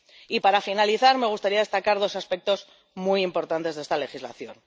Y, para finalizar, me gustaría destacar dos aspectos muy importantes de esta legislación.